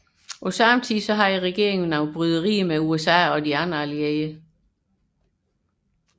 Ved samme tid havde regeringen bryderier med USA og de andre allierede